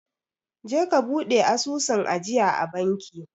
Je ka bude asusun ajiyaa a banki